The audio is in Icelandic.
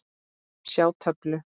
Sjá töflu.